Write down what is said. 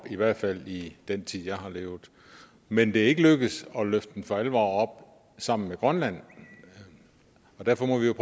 i hvert fald i den tid jeg har levet men det er ikke lykkedes at løfte den for alvor sammen med grønland og derfor må vi jo